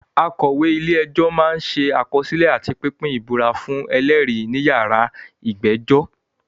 Akọ̀wé-ilé-ẹjọ́ máa ń ṣe àkọsílẹ̀ àti pínpín ìbúra fún ẹlẹ́rìí níyàrá ìgbẹ́jọ́.